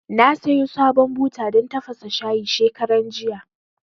Na sayo sabon buta dan tafasa shayi shekaran jiya